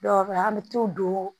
Dɔw bɛ an bɛ t'u don